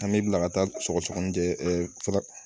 An bɛ bila ka taa sɔgɔsɔgɔninjɛ fɛɛrɛ